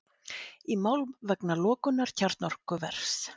Í mál vegna lokunar kjarnorkuvers